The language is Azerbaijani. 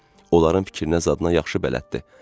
Onların fikrinə zadına yaxşı bələddir.